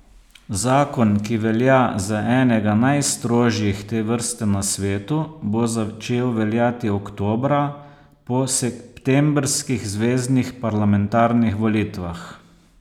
Zakon, ki velja za enega najstrožjih te vrste na svetu, bo začel veljati oktobra, po septembrskih zveznih parlamentarnih volitvah.